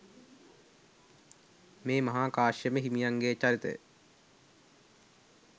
මේ මහා කාශ්‍යප හිමියන්ගේ චරිතය